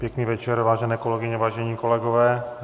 Pěkný večer, vážené kolegyně, vážení kolegové.